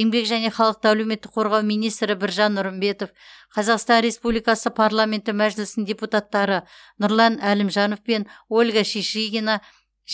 еңбек және халықты әлеуметтік қорғау министрі біржан нұрымбетов қазақстан республикасы парламенті мәжілісінің депутаттары нұрлан әлімжанов пен ольга шишигина